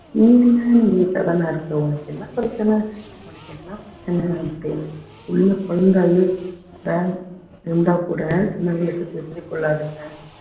நீ வீட்டுல தான இருக்க உனக்கு என்ன பிரச்சனை உனக்கு என்ன பிரச்சனை அப்படின்னு சின்ன குழந்தை அழுதா இருந்தா கூட சின்னவளுக்கு தெரிஞ்சு கொள்ளாதுங்க